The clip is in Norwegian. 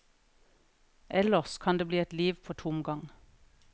Ellers kan det bli et liv på tomgang.